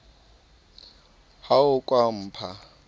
ha o ka wa mpha